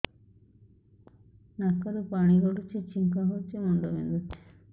ନାକରୁ ପାଣି ଗଡୁଛି ଛିଙ୍କ ହଉଚି ମୁଣ୍ଡ ବିନ୍ଧୁଛି